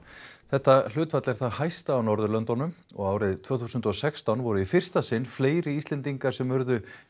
þetta hlutfall er það hæsta á Norðurlöndunum og árið tvö þúsund og sextán voru í fyrsta sinn fleiri Íslendingar sem urðu